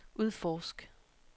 udforsk